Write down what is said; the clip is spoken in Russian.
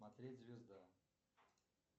смотреть звезда